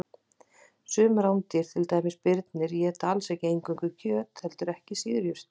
Sum rándýr, til dæmis birnir, éta alls ekki eingöngu kjöt heldur ekki síður jurtir.